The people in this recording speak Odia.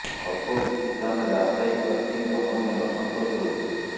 ଅଳ୍ପ କିଛି ସ୍ଥାନରେ ଆଶାୟୀ ପ୍ରାର୍ଥୀଙ୍କ ମଧ୍ୟରେ ଅସନ୍ତୋଷ ରହିଛି